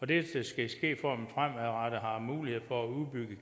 det skal ske for at man fremadrettet har mulighed for at udbygge